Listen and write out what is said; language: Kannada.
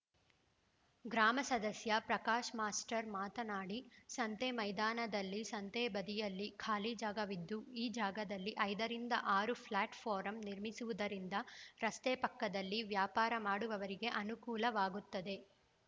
ಗ್ರಾಮ ಸದಸ್ಯ ಪ್ರಕಾಶ್‌ ಮಾಸ್ಟರ್‌ ಮಾತನಾಡಿ ಸಂತೆ ಮೈದಾನದಲ್ಲಿ ಸಂತೆ ಬದಿಯಲ್ಲಿ ಖಾಲಿ ಜಾಗವಿದ್ದು ಈ ಜಾಗದಲ್ಲಿ ಐದರಿಂದ ಆರು ಫ್ಲಾಟ್‌ ಫಾರಂ ನಿರ್ಮಿಸುವುದರಿಂದ ರಸ್ತೆ ಪಕ್ಕದಲ್ಲಿ ವ್ಯಾಪಾರ ಮಾಡುವವರಿಗೆ ಅನುಕೂಲವಾಗುತ್ತದೆ